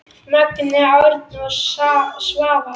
Magnea, Árni og Svava.